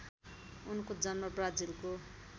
उनको जन्म ब्राजिलको